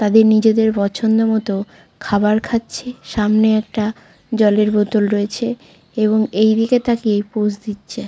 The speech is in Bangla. তাদের নিজেদের পছন্দমতো খাবার খাচ্ছে। সামনে একটা জলের বোতল রয়েছে এবং এইদিকে তাকিয়েই পোজ দিচ্ছে।